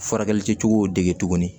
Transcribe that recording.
Furakɛli kɛcogow dege tuguni